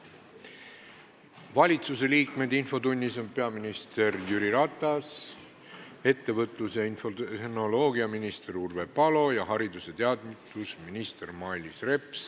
Valitsuse liikmetest on infotunnis peaminister Jüri Ratas, ettevõtlus- ja infotehnoloogiaminister Urve Palo ning haridus- ja teadusminister Mailis Reps.